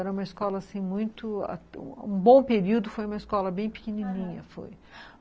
Era uma escola, assim, muito... Um bom período foi uma escola bem pequenininha, aham, foi.